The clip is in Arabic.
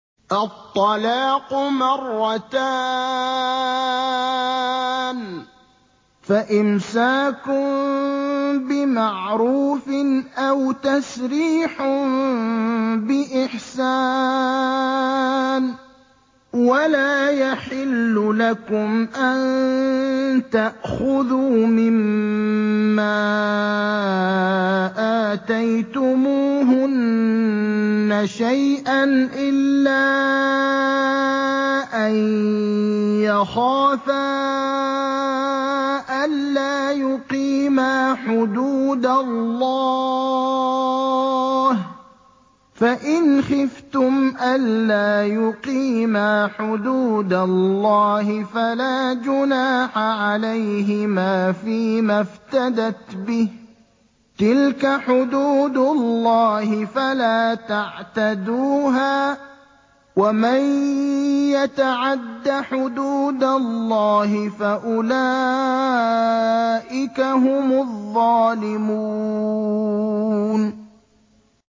الطَّلَاقُ مَرَّتَانِ ۖ فَإِمْسَاكٌ بِمَعْرُوفٍ أَوْ تَسْرِيحٌ بِإِحْسَانٍ ۗ وَلَا يَحِلُّ لَكُمْ أَن تَأْخُذُوا مِمَّا آتَيْتُمُوهُنَّ شَيْئًا إِلَّا أَن يَخَافَا أَلَّا يُقِيمَا حُدُودَ اللَّهِ ۖ فَإِنْ خِفْتُمْ أَلَّا يُقِيمَا حُدُودَ اللَّهِ فَلَا جُنَاحَ عَلَيْهِمَا فِيمَا افْتَدَتْ بِهِ ۗ تِلْكَ حُدُودُ اللَّهِ فَلَا تَعْتَدُوهَا ۚ وَمَن يَتَعَدَّ حُدُودَ اللَّهِ فَأُولَٰئِكَ هُمُ الظَّالِمُونَ